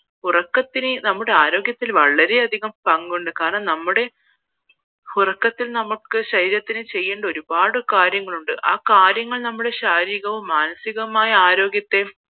ഉറക്കത്തിന് നമ്മുടെ ആരോഗ്യത്തിൽ വളരെ അധികം പങ്കുണ്ട് കാരണം ഉറക്കത്തിൽ നമുക്ക് ശരീരത്തിൽ ചെയ്യേണ്ട ഒരുപാട് കാര്യങ്ങളുണ്ട് ആ കാര്യങ്ങൾ ശാരീരികവും മാനസികവുമായ ആരോഗ്യത്തെ